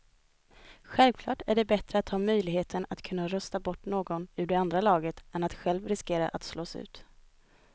Självklart är det bättre att ha möjligheten att kunna rösta bort någon ur det andra laget än att själv riskera att slås ut.